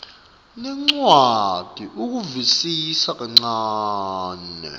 nencwadzi ukuvisisa kancane